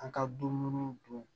An ka dumuniw dun